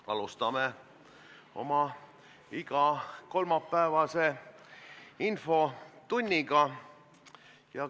Alustame oma igakolmapäevast infotundi.